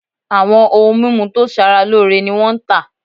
Awọn oun mimu to sara loore ni wọn n ta